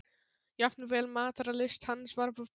Jafnvel matarlyst hans var að breytast.